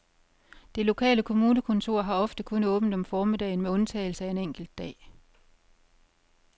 Det lokale kommunekontor har ofte kun åbent om formiddagen med undtagelse af en enkelt dag.